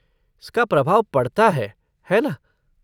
इसका प्रभाव पड़ता है, है ना?